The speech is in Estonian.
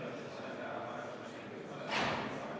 Aivar Sõerd, palun!